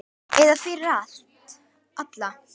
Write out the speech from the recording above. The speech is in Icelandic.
Eða fyrir alla.